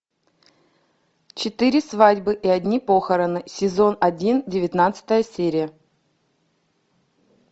четыре свадьбы и одни похороны сезон один девятнадцатая серия